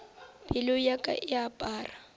pelo ya ka e apara